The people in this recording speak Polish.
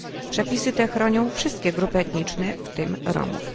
Przepisy te chronią wszystkie grupy etniczne, w tym Romów.